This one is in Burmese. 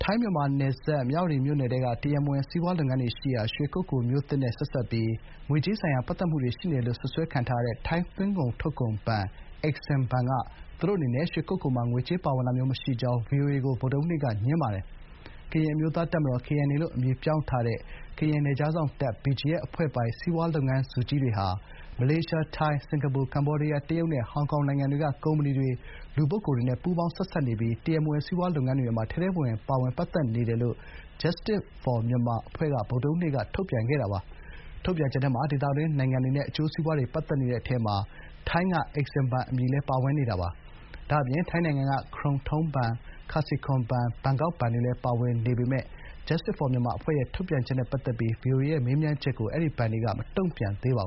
ိုင်း-မြန်မာနယ်စပ် မြဝတီမြို့နယ်ထဲက တရားမဝင် စီးပွားလုပ်ငန်းတွေရှိရာ ရွှေကုက္ကိုမြို့သစ်နဲ့ဆက်စပ်ပြီး ငွေကြေးဆိုင်ရာပတ်သက်နေတယ်လို့ စွပ်စွဲခံထားရတဲ့ ထိုင်းသွင်းကုန်ထုတ်ကုန်ဘဏ် EXIM ဘဏ်က သူတို့အနေနဲ့ ရွှေကုက္ကိုမှာ ငွေကြေးထောက်ပံ့တာမျိုးမရှိကြောင်း ဗွီအိုအေကို ဗုဒ္ဓဟူးနေ့ကငြင်းပါတယ်။ ကရင်အမျိုးသားတပ်မတော် (KNA) လို့ အမည်ပြောင်းထားတဲ့ ကရင်နယ်ခြားစောင့်တပ် (BGF) အဖွဲ့ပိုင် စီးပွားလုပ်ငန်းစုကြီးတွေဟာ မလေးရှား၊ ထိုင်း၊ စင်ကာပူ၊ ကမ္ဘောဒီးယား၊ တရုတ်နဲ့ ဟောင်ကောင်နိုင်ငံတွေက ကုမ္ပဏီတွေ၊ လူပုဂ္ဂိုလ်တွေနဲ့ ပူးပေါင်း ဆက်စပ်နေပြီး တရားမဝင် စီးပွားရေးလုပ်ငန်းတွေမှာ ထဲထဲဝင်ဝင် ပါဝင်ပတ်သက်နေတယ်လို့ Justice For Myanmar အဖွဲ့က ဗုဒ္ဓဟူးနေ့က ထုတ်ပြန်ချက်ထဲမှာ ဒေသတွင်းနိုင်ငံတွေနဲ့ အကျိုးစီးပွားတွေ ပတ်သက်နေတဲ့အထဲမှာ ထိုင်းက EXIM ဘဏ်အမည်လည်း ပါဝင်နေတာပါ။ ဒါ့အပြင် ထိုင်းနိုင်ငံက ခရုန်ထိုင်းဘဏ် (Krung Thai)၊ ခါစီခွန် ဘဏ်(Kasikorn)၊ ဘန်ကောက်ဘဏ် (Bangkok) တွေလည်း ပါဝင်နေပေမယ့် Justice For Myanmar အဖွဲ့ရဲ့ ထုတ်ပြန်ချက်နဲ့ပတ်သက်ပြီး ဗွီအိုအေရဲ့မေးမြန်းချက်ကို အဲဒီ ဘဏ်တွေကတော့ မတုံ့ပြန်သေးပါ